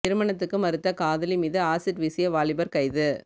திருமணத்துக்கு மறுத்த காதலி மீது அசிட் வீசிய வாலிபர் கைது